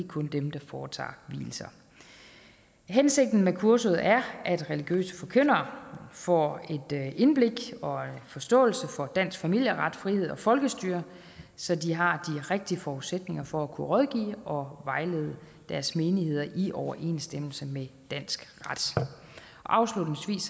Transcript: kun dem der foretager vielser hensigten med kurset er at religiøse forkyndere får et indblik i og en forståelse for dansk familieret frihed og folkestyre så de har rigtige forudsætninger for at kunne rådgive og vejlede deres menigheder i overensstemmelse med dansk ret afslutningsvis